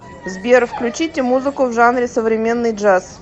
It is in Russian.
сбер включите музыку в жанре современный джаз